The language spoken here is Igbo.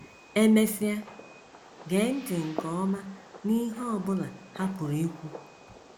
E mesịa, gee ntị nke ọma n’ihe ọ bụla ha pụrụ ikwu.